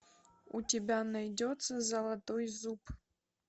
у тебя найдется золотой зуб